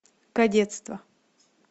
кадетство